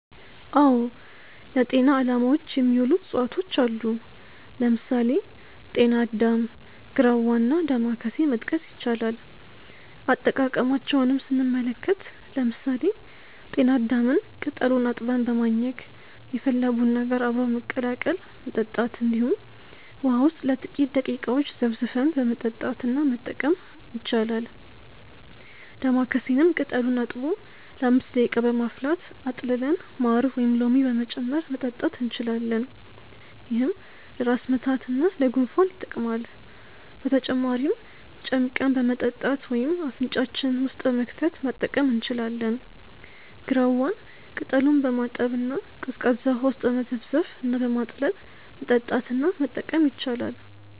አዎ ለጤና አላማዎች የሚውሉ እፅዋቶች አሉ። ለምሳሌ: ጤና አዳም፣ ግራዋ እና ዳማከሴ መጥቀስ ይቻላል። አጠቃቀማቸውንም ስንመለከት ለምሳሌ ጤና አዳምን ቅጠሉን አጥበን በማኘክ፣ የፈላ ቡና ጋር አብሮ በመቀላቀል መጠጣት እንዲሁም ውሃ ውስጥ ለጥቂተረ ደቂቃዎች ዘፍዝፈን በመጠጣት እና መጠቀም ይቻላል። ዳማከሴንም ቅጠሉን አጥቦ ለ5 ደቂቃ በማፍላት አጥልለን ማር ወይም ሎሚ በመጨመር መጠጣት እንችላለን። ይህም ለራስ ምታት እና ለጉንፋን ይጠቅማል። በተጨማሪም ጨምቀን በመጠጣት ወይም አፍንጫችን ውስጥ በመክተት መጠቀም እንችላለን። ግራዋን ቅጠሉን በማጠብ እና ቀዝቃዛ ውሃ ውስጥ በመዘፍዘፍ እና በማጥለል መጠጣት እና መጠቀም ይቻላል።